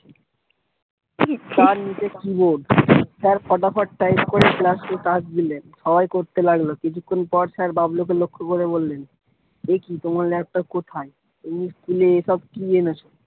নীচে keyboard sir ফটাফট type করে class এ কাজ দিলেন সবাই করতে লাগলো। কিছুক্ষন পর sir বাবলুকে লক্ষ করে বললেন, একি তোমার laptop কোথায়? তুমি school এ সব কি এনেছো?